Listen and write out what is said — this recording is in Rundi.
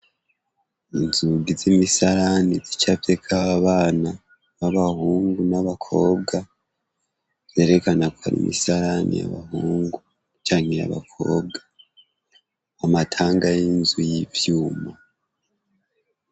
Inzugi z'imisalani vicavyeko bana b'abahungu n'abakobwa zerekana ko ara imisalani yabahungu canke riabakobwa amatanga y'inzu y'ivyuma.